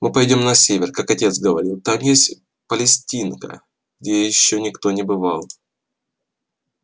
мы пойдём на север как отец говорил там есть палестинка где ещё никто не бывал